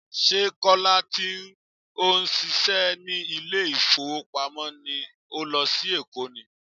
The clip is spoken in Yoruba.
Ṣé Kọ́lá tí ó ń ṣíṣe ní ilé ìfowópamọ́ ni ó lọ sí Èkó ni?